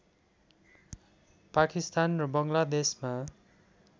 पाकिस्तान र बङ्गलादेशमा